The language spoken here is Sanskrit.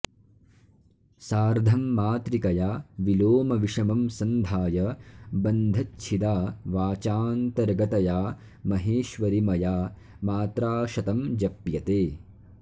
सार्धं मातृकया विलोमविषमं सन्धाय बन्धच्छिदा वाचान्तर्गतया महेश्वरि मया मात्राशतं जप्यते